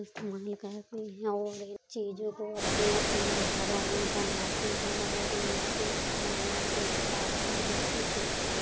इस्तमाल करती हैं और इन चीजों को अपने-अपने घरों में बनाती हैं और इनसे घरों में भी खाती हैं। कुछ भी सामा --